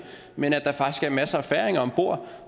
men at der faktisk er masser af færinger om bord